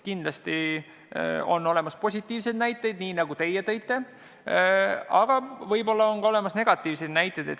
Kindlasti on olemas positiivseid näited, nii nagu teie tõite, aga võib-olla on ka negatiivseid näiteid.